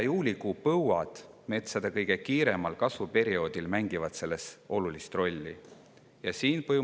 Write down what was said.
Selles mängivad olulist rolli juuni- ja juulikuus metsades olnud põuad, mis leidsid aset metsade kõige kiiremal kasvuperioodil.